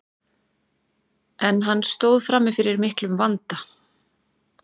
en hann stóð frammi fyrir miklum vanda